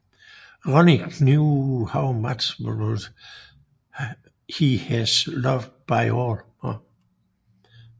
Ronnie knew how much he was loved by all